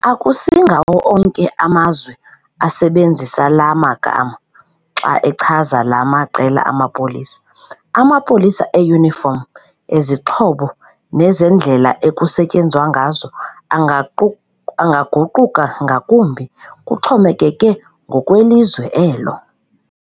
Akusingawo onke amazwe asebenzisa laa magama xa echaza laa maqela amapolisa. Amapolisa e-uniform, ezixhobo nezendlela ekusetyenzwa ngazo angaguquka ngakumbi, kuxhomekeke ngokwelizwe elo.